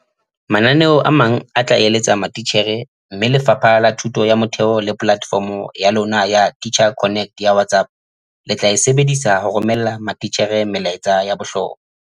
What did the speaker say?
Mananeo a mang a tla eletsa matitjhere mme Lefapha la Thuto ya Motheo le polatefomo ya lona ya Teacher Connect ya WhatsApp le tla e sebedisa ho romella matitjhere melaetsa ya bohlokwa.